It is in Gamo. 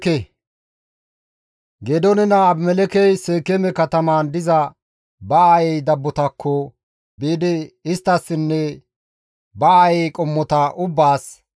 Geedoone naa Abimelekkey Seekeeme katamaan diza ba aayey dabbotakko biidi isttassinne ba aayey qommota ubbaas,